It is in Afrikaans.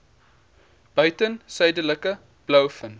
buiten suidelike blouvin